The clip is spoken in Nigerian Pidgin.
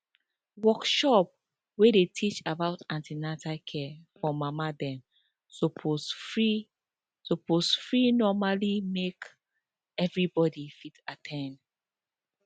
workshop wey dey teach about an ten atal care for mama dem suppose free suppose free normally make everybody fit at ten d